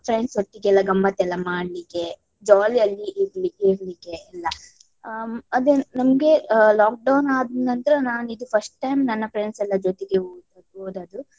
Friends ಒಟ್ಟಿಗೆಲ್ಲ ಗಮ್ಮತ್ ಎಲ್ಲಾ ಮಾಡ್ಲಿಕ್ಕೆ jolly ಯಲ್ಲಿ ಇರ್ಲಿಕ್~ ಇರ್ಲಿಕ್ಕೆ ಎಲ್ಲ . ಹ್ಮ್ ಅದನ್ನು ನಮ್ಗೆ ಆ lockdown ಆದ ನಂತರ ನಾನಿದು first time ನನ್ನ friends ಎಲ್ಲ ಜೊತೆಗೆ ಹೋದ್~ ಹೋದದ್ದು.